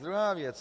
Druhá věc.